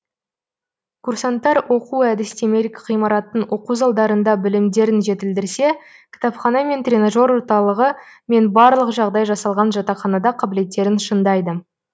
курсанттар оқу әдістемелік ғимараттың оқу залдарында білімдерін жетілдірсе кітапхана мен тренажер орталығы мен барлық жағдай жасалған жатақханада қабілеттерін шыңдайды